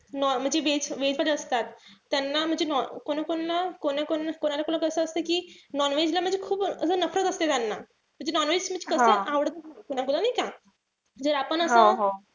म्हणजे veg म्हणजे veg च असतात. त्यांना म्हणजे कोणाकोणाला कोणाकोणाला कस असत कि non-veg ला म्हणजे खूप असं असते त्याना. म्हणजे non-veg म्हणजे कस आवडत नाई कोणाला नाई का? आपण असं,